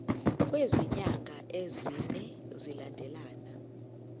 kwezinyanga ezine zilandelana